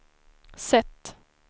sätt